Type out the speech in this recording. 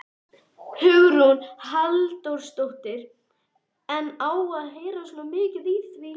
Hugrún Halldórsdóttir: En á að heyrast svona mikið í því?